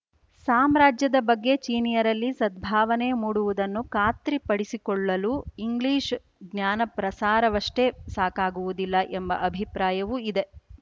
ಸಾಮ್ರಾಜ್ಯದ ಬಗ್ಗೆ ಚೀನೀಯರಲ್ಲಿ ಸದ್ಭಾವನೆ ಮೂಡುವುದನ್ನು ಖಾತ್ರಿಪಡಿಸಿಕೊಳ್ಳಲೂ ಇಂಗ್ಲೀಷ್ ಜ್ಞಾನಪ್ರಸಾರವಷ್ಟೇ ಸಾಕಾಗುವುದಿಲ್ಲ ಎಂಬ ಅಭಿಪ್ರಾಯವೂ ಇದೆ